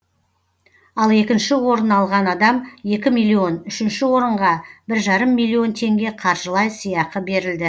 ал екінші орын алған адам екі миллион үшінші орынға бір жарым миллион теңге қаржылай сыйақы берілді